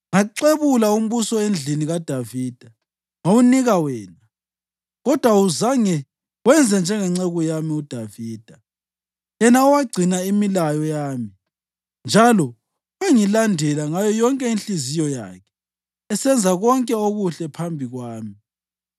Ngaxebula umbuso endlini kaDavida ngawunika wena, kodwa awuzange wenze njengenceku yami uDavida, yena owagcina imilayo yami njalo wangilandela ngayo yonke inhliziyo yakhe, esenza konke okuhle phambi kwami.